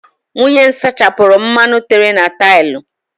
Nwunye m sachapụrụ mmanụ tere na taịlụ.